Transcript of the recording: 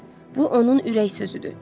Bu onun ürək sözüdür.